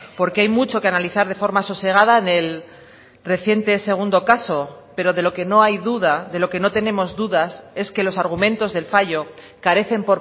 porque hay mucho que analizar de forma sosegada en el reciente segundo caso pero de lo que no hay duda de lo que no tenemos dudas es que los argumentos del fallo carecen